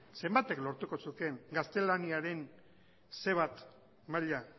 zenbatek lortuko zukeen gaztelaniaren ce bat maila